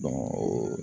o